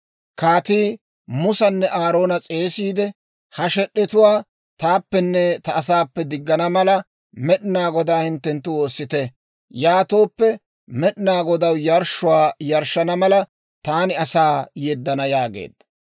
Kaatii Musanne Aaroona s'eesissiide, «Ha shed'etuwaa taappenne ta asaappe diggana mala, Med'inaa Godaa hinttenttu woossite; yaatooppe Med'inaa Godaw yarshshuwaa yarshshana mala, taani asaa yeddana» yaageedda.